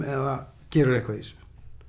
eða gerirðu eitthvað í þessu